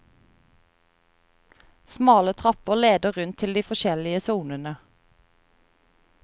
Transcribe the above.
Smale trapper leder rundt til de forskjellige sonene.